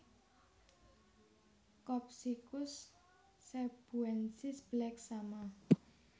Copsychus cebuensis Black Shama